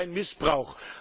Das ist kein Missbrauch.